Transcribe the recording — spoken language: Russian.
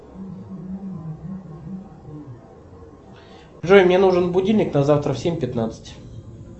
джой мне нужен будильник на завтра в семь пятнадцать